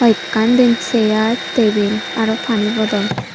ekkan diyen sear tebil araw pani bodol